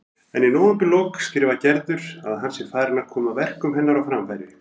En í nóvemberlok skrifar Gerður að hann sé farinn að koma verkum hennar á framfæri.